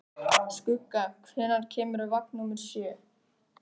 Hvaða tilgangi þjóna fallhlífar í þyngdarleysi eins og þegar lent er á Mars?